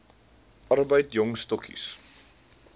arbeid jong stokkies